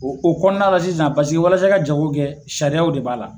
O o kɔnɔna la sisan i ka jago kɛ sariyaw de b'a la